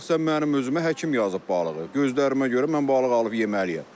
Şəxsən mənim özümə həkim yazıb balığı, gözlərimə görə mən balıq alıb yeməliyəm.